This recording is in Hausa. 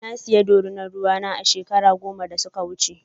Na saya ɗorina ruwa na a shekaru goma da suka wuce.